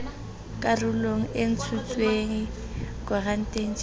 karolwana e ntshitsweng koranteng jj